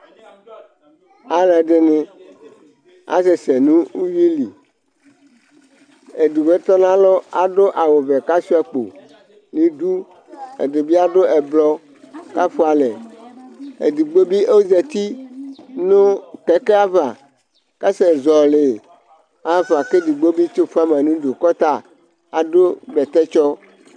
ɑluɛdini ɑsɛsɛ nuhuili digbo kɔnɑlo ɑdu ɑwuvɛ kɑ chuɑkpo nidu ɛdibiɑmuɛblo kɑfuɑlɛ ɛdigbobi ɔzɑti nukekeava ɑsɛzɔli ɑhɑfɑ ƙɛdigbobi tsifuɑmɑnudu kɛdigbo bitsifuɑmɑ nudu ɑdubɛtɛtsɔ